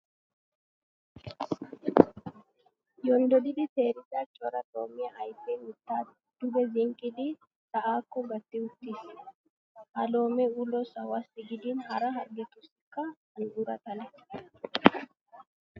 Yonddoddi teerida cora loomiya ayfee mittaa duge zinqqidi sa'aakko gatti uttiis. Ha loomee ulo sahuwassi gidin hara harggetussikka an"ura xale.